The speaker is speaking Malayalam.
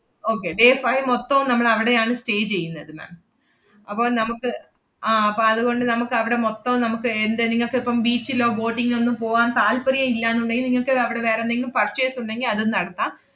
okay day five മോത്തോം നമ്മളവടെയാണ് stay ചെയ്യുന്നത് ma'am അപ്പൊ നമുക്ക് ആഹ് അപ്പം അതുകൊണ്ട് നമക്കവടെ മോത്തോം നമ്മക്ക് ഏർ എന്താ നിങ്ങക്കിപ്പം beach ലോ boating ഓ ഒന്നും പോവാൻ താത്പര്യം ഇല്ലാന്നുണ്ടെങ്കി നിങ്ങക്ക് അവടെ വേറെന്തെങ്കിലും purchase ഉണ്ടെങ്കി അതും നടത്താം.